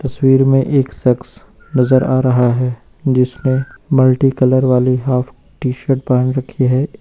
तस्वीर में एक शख्स नजर आ रहा है जिसने मल्टी कलर वाली हाफ टी शर्ट पहन रखी है।